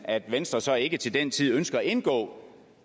at venstre så ikke til den tid ønsker at indgå